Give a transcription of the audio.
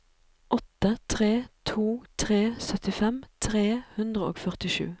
åtte tre to tre syttifem tre hundre og førtisju